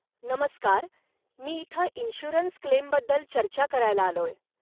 नमस्कार, मी इथं इन्शुअरन्स क्लेमबद्दल चर्चा करायला आलोय.